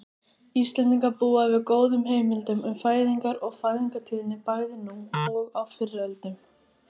Íslendingar búa yfir góðum heimildum um fæðingar og fæðingartíðni bæði nú og fyrr á öldum.